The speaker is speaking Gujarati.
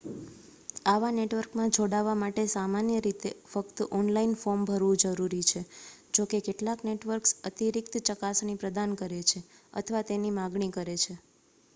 આવા નેટવર્કમાં જોડાવા માટે સામાન્ય રીતે ફક્ત ઓનલાઇન ફોર્મ ભરવું જરૂરી છે જોકે કેટલાક નેટવર્ક્સ અતિરિક્ત ચકાસણી પ્રદાન કરે છે અથવા તેની માગણી કરે છે